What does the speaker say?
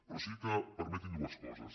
però sí que permetin me dues coses